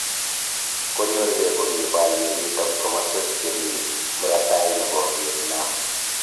Konyorgei Komi baryenito kokwosyek chemii muratai nebo Vietnam